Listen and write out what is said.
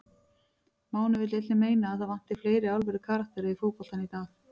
Máni vill einnig meina að það vanti fleiri alvöru karaktera í fótboltann í dag.